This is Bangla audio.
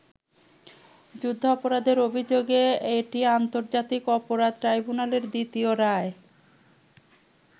যুদ্ধাপরাধের অভিযোগে এটি আন্তর্জাতিক অপরাধ ট্রাইব্যুনালের দ্বিতীয় রায়।